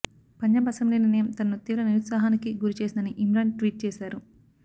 Punjab assembly నిర్ణయం తనను తీవ్ర నిరుత్సాహానికి గురి చేసిందని ఇమ్రాన్ ట్వీట్ చేశారు